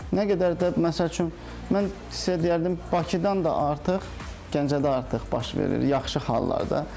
Nə qədər də, məsəl üçün, mən sizə deyərdim Bakıdan da artıq Gəncədə artıq baş verir yaxşı hallarda.